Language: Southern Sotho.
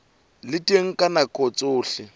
le teng ka nako tsohle